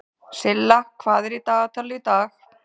Silla, hvað er í dagatalinu í dag?